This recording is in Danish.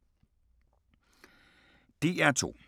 DR2